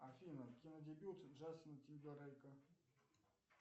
афина кинодебют джастина тимберлейка